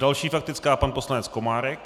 Další faktická, pan poslanec Komárek.